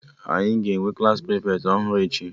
Anyị ga-enwe Klassị prịfeti ọhụrụ echi